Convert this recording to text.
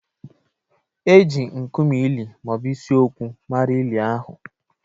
Eji nkume ili ma ọ bụ isi okwu mara ili ahụ